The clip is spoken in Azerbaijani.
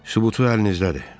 Sübutu əlinizdədir.